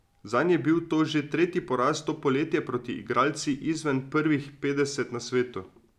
Zanj je bil to že tretji poraz to poletje proti igralci izven prvih petdeset na svetu.